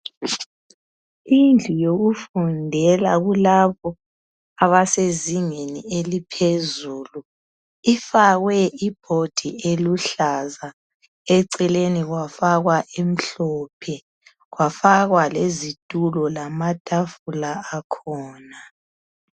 Indlu yokufundela kulabo abesezingeni eliphezulu, ifakwe ibhodi eluhlaza eceleni kwafakwa emhlophe . Kwafakwa lezithulo lamathafula akhona.